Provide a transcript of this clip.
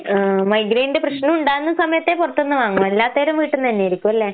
ഏഹ് മൈഗ്രെയ്ന്റെ പ്രശ്നവുണ്ടാകുന്ന സമയത്തെ പൊറത്ത്ന്ന് വാങ്ങൂ, അല്ലാത്തേരം വീട്ട്ന്നന്നേരിക്കുവല്ലേ?